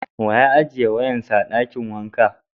Wa ya ajiye wayan sa a dakin wanka?